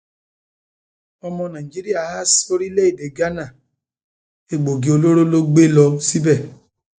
ọmọ nàìjíríà há sóríléèdè ghana sóríléèdè ghana egbòogi olóró ló gbé lọ síbẹ